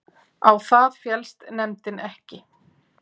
Á það féllst nefndin ekki